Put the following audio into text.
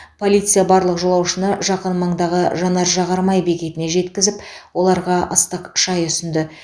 полиция барлық жолаушыны жақын маңдағы жанар жағармай бекетіне жеткізіп оларға ыстық шай ұсынды